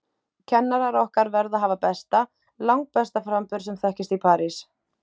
Kennarar okkar verða hafa besta, langbesta framburð sem þekkist í París.